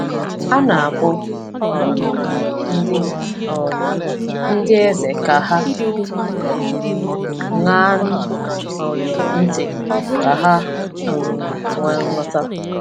A na-akpọ um ndị um ndị eze ka ha ṅaa um ntị, ka ha um nwee nghọta.